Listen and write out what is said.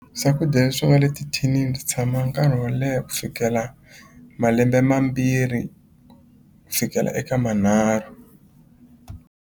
Swakudya swi nga le tithinini swi tshama nkarhi wo leha ku fikela malembe mambirhi ku fikela eka manharhu.